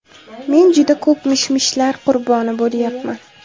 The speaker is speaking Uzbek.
Men juda ko‘p mish-mishlar qurboni bo‘lyapman.